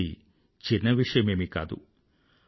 ఇది చిన్న విషయమేమీ కాదు